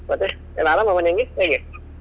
ಮತ್ತೆ ಎಲ್ಲ ಆರಾಮ ಮನೆಯಂಗೆ ಹೇಗೆ?